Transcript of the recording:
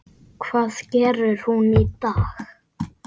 Hvað gerir hún í dag?